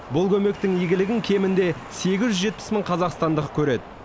бұл көмектің игілігін кемінде сегіз жүз жетпіс мың қазақстандық көреді